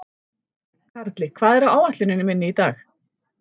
Karli, hvað er á áætluninni minni í dag?